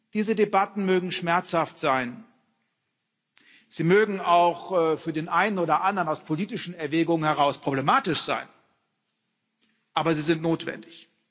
Diese Debatten mögen schmerzhaft sein, sie mögen auch für den einen oder anderen aus politischen Erwägungen heraus problematisch sein, aber sie sind notwendig.